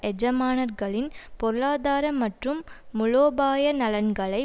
எஜமானர்களின் பொருளாதார மற்றும் முலோபாய நலன்களை